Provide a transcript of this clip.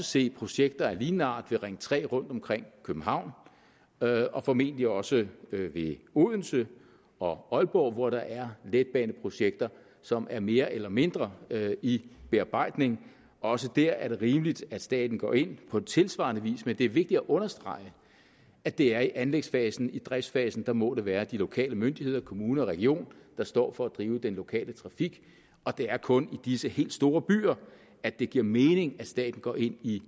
se projekter af lignende art ved ring tre rundt omkring københavn og og formentlig også ved odense og aalborg hvor der er letbaneprojekter som er mere eller mindre i bearbejdning også der er det rimeligt at staten går ind på tilsvarende vis men det er vigtigt at understrege at det er i anlægsfasen i driftsfasen må det være de lokale myndigheder kommune og region der står for at drive den lokale trafik og det er kun i disse helt store byer at det giver mening at staten går ind i